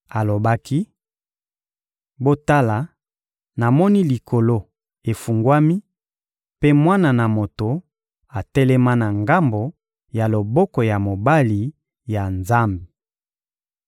Alobaki: — Botala, namoni Likolo efungwami mpe Mwana na moto atelema na ngambo ya loboko ya mobali ya Nzambe!